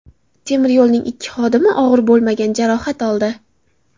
Temir yo‘lning ikki xodimi og‘ir bo‘lmagan jarohat oldi.